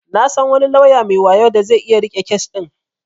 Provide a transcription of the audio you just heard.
Na san wani lauya mai wayo da zai iya riƙe kes din.